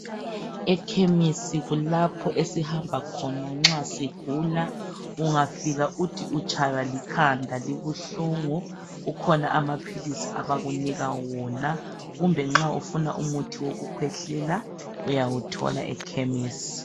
Ekemesi kulapho esihamba khona nxa sigula ungafika uthi utshaywa likhanda libuhlungu kukhona amaphilisi abakunika wona kumbe nxa ufuna umuthi wokukhwehlela uyawuthola ekemesi.